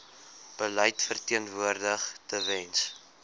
beleid verteenwoordig tewens